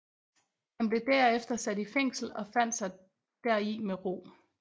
Han blev derefter sat i fængsel og fandt sig deri med ro